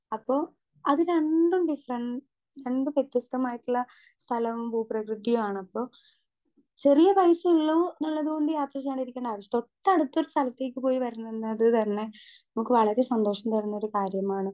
Speaker 2 അപ്പൊ അത് രണ്ടും ഡിഫറെൻറ് രണ്ട് വ്യത്യസ്തമായിട്ടുള്ള സ്ഥലം ഭൂപ്രകൃതിയാണപ്പൊ ചെറിയ പൈസയ്ള്ളൂന്നുള്ളതോണ്ട് യാത്ര ചെയ്യാനിരിക്ക് തൊട്ടടുത്തൊരു സ്ഥലത്തേക്ക് പോയി വെരുന്നത് തന്നെ നമുക്ക് വളരേ സന്തോഷം തരുന്നൊരു കാര്യമാണ്.